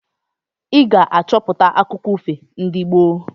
Ị ga-achọpụta akụkọ ifo ndị gboo!